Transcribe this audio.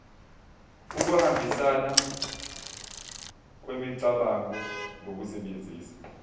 ukuhambisana kwemicabango ngokusebenzisa